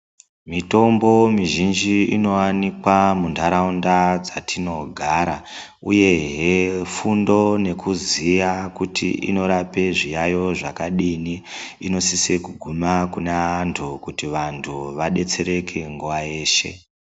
Mitombo mizhinji inowanikwa munharaunda dzatinogara, uyehe fundo nekuziya kuti inorape zviyaiyo zvakadini inosise kuguma kune anthu kuti vanthu vadetsereke nguwa yeshe.